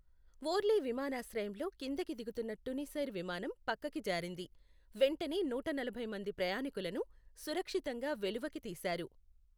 ఓర్లీ విమానాశ్రయంలో కిందకి దిగుతున్న టునిసైర్ విమానం పక్కకి జారింది, వెంటనే నూటనలభై మంది ప్రయాణికులను సురక్షితంగా వెలువకి తీశారు.